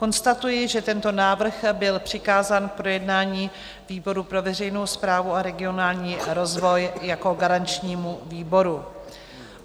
Konstatuji, že tento návrh byl přikázán k projednání výboru pro veřejnou správu a regionální rozvoj jako garančnímu výboru.